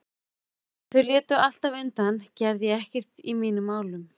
Ef þau létu alltaf undan gerði ég ekkert í mínum málum.